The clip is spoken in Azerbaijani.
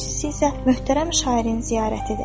ikincisi isə möhtərəm şairin ziyarətidir.